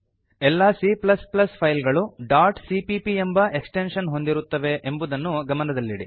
ಎಲ್ಲಾ C file ಗಳು cpp ಎಂಬ ಎಕ್ಸ್ಟೆಂಶನ್ ಹೊಂದಿರುತ್ತವೆ ಎಂಬುದನ್ನು ಗಮನದಲ್ಲಿಡಿ